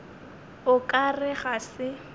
o ka re ga se